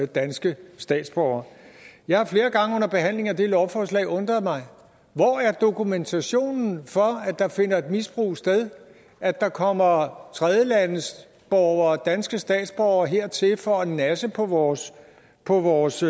danske statsborgere jeg har flere gange under behandlingen af det lovforslag undret mig hvor er dokumentationen for at der finder et misbrug sted at der kommer tredjelandsborgere og danske statsborgere hertil for at nasse på vores på vores